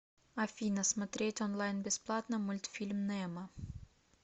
афина смотреть онлайн бесплатно мультфильм немо